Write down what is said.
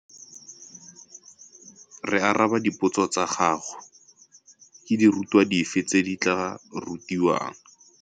Re araba dipotso tsa gago. Ke dirutwa dife tse di tla rutiwang?